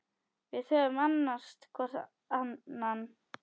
Við höfum annast hvor annan.